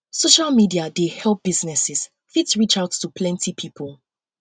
social media dey help business fit reach out to planty pipo